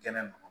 Kɛnɛ ma